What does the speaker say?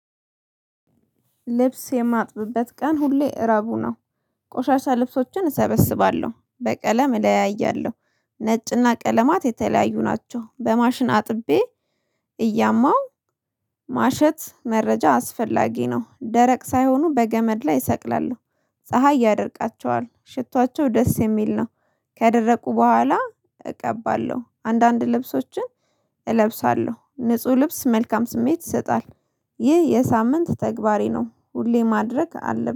ልብስ የማጥብበት ቀን ሁሌ ረቡዕ ነው። ቆሻሻ ልብሶችን እሰበስባለሁ በቀለም እለያያለሁ ነጭና ቀለማት የተለያዩ ናቸው በማሽን አጥቤ እያማው ማሸት መረጃ አስፈላጊ ነው። ደረቅ ሳይሆኑ በገመድ ላይ እሰቅላለሁ ፀሀይ ያደርቃቸዋል ሽቷቸው ደስ የሚል ነው። ከደረቁ በኋላ እቀባለሁ አንዳንድ ልብሶችን እለብሳለሁ ንጹህ ልብስ መልካም ስሜት ይሰጣል። ይህ የሳምንት ተግባሬ ነው። ሁሌ ማድረግ አለብኝ